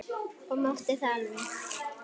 Og mátti það alveg.